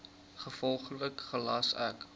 gevolglik gelas ek